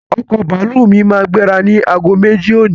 Ọkọ̀ bàálù mí máa gbéra ni agogo méjì òní